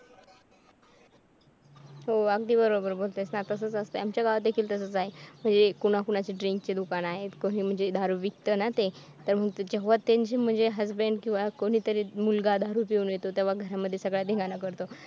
हो अगदी बरोबर बोलतेस तसंच असतंय आमच्या गावात देखील तसेच आहे म्हणजे कोणा कोणाची drink ची दुकान आहेत कोणी म्हणजे दारू विकत ना ते तर तेव्हा म्हणजे त्यांची husband किंवा कोणीतरी मुलगा दारू पिऊन येतो तेव्हा घरामध्ये सगळा धिंगाणा करतो.